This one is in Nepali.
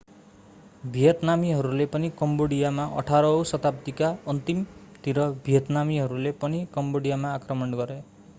भियतनामीहरूले पनि कम्बोडियामा 18 औं शताब्दीका अन्तिमतिर भियतनामीहरूले पनि कम्बोडियामा आक्रमण गरे